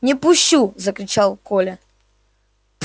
не пущу закричал коля